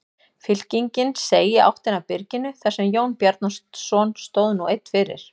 Fylkingin seig í áttina að byrginu þar sem Jón Bjarnason stóð nú einn fyrir.